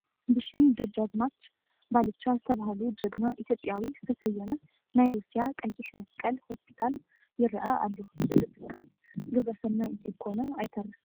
ብሽም ደጀ ኣዝማች ባልቻ ዝተባህሉ ጅግና ኢትዮጵያዊ ዝተሰየመ ናይ ሩስያ ቀይሕ መስቀል ሆስፒታል ይርአ ኣሎ፡፡ እዚ ትካል ግብረ ሰናይ እንተይኮነ ኣይተርፍን፡፡